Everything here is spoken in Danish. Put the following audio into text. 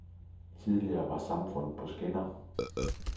Tidligere var samfundet på skinner.